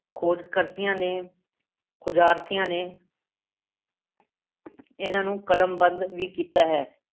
ਖੋਜਕਰਥੀਆਂ ਨੇ ਖੋਜਾਰਥੀਆਂ ਨੇ ਇਹਨਾਂ ਨੂੰ ਕਲਮਬੰਦ ਵੀ ਕੀਤਾ ਹੈ।